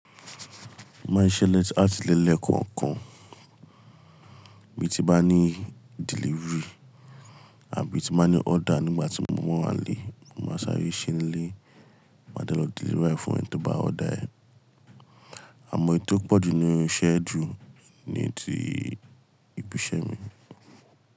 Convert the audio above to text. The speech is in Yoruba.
Mo máa ń ṣisẹ làti ilé le kọ̀ọ̀kan. Bí ti mo bá ní delivery àbí tí mo bá ní order nígbà tí mo báa wà nílé, mo máa sáré se ni ilé, máa de lọ deliver e fún ẹni tí ó bá order. Àmọ́ ohun tó pọ̀jù nínú iṣẹ́ ju ní ti ibi iṣẹ́ mi.